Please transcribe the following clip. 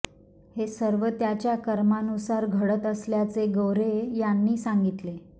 हे सर्व त्याच्या कर्मानुसार घडत असल्याचे गोरे यांनी सांगितले